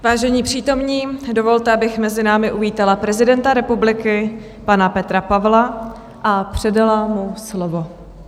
Vážení přítomní, dovolte, abych mezi námi uvítala prezidenta republiky, pana Petra Pavla, a předala mu slovo.